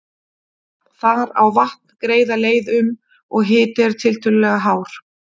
Þar á vatn greiða leið um, og hiti er tiltölulega hár.